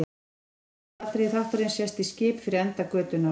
Í þessu fyrsta atriði þáttarins sést í skip fyrir enda götunnar.